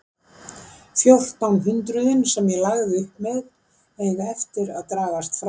Fjórtán hundruðin sem ég lagði upp með eiga eftir að dragast frá.